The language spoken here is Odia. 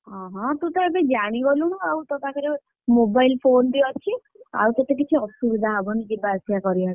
ଅହଁ ତୁତ ଏବେ ଜାଣିଗଲୁଣୁ ଆଉ, ତୋ ପାଖରେ ତ mobile phone ବି, ଅଛି ଆଉ ତତେ କିଛି ଅସୁବିଧା ବି ହବନି ପୁଣି ଯିବା ଆସିବା କରିବାକୁ।